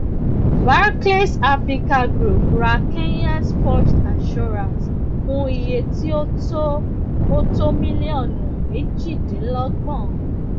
barclays africa group ra kenyas first assurance fún iye tí ó tó ó tó mílíọnù méjìdínlọgbọn